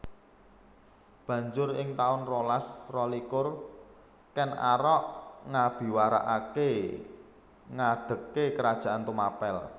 Banjur ing taun rolas rolikur Ken Arok ngabiwarakaké ngadegé Kerajaan Tumapel